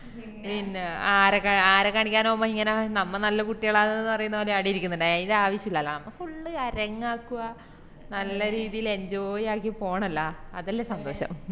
പിന്നാ ആര കാണി ആരാ കാണിക്കാന് മ്മ ഇങ്ങനെ നമ്മ നല്ല കുട്ടികള് ആ പറയുന്നപോലെയാ ആട ഇരിക്കുന്നുണ്ടാവുവാ അയിന്റെ ആവശ്യില്ലലോ നമ്മ full അരങ്ങാക്കുവാ നല്ല രീതില് enjoy ആക്കി പോണല്ലോ അതല്ലേ സന്തോഷം